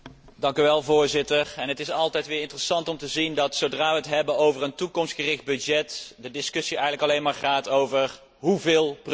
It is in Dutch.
Voorzitter, het is altijd weer interessant om te zien dat, zodra we het hebben over een toekomstgericht budget, de discussie eigenlijk alleen maar gaat over 'hoeveel precies?'.